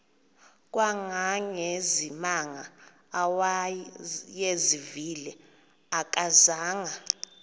kangangezimanga awayezivile akazanga